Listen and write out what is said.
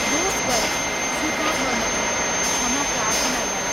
दोष गरेँ स्वीकार गर्न आएँ क्षमा प्रार्थना गरें।